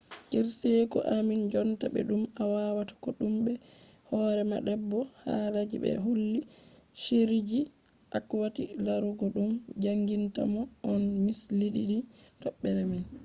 kirseeku ammin jonta be dum awatta kodume be hore ma bebo halaji be holli shiriji akwati larugo dum jangintamon on mislidini tobbere mai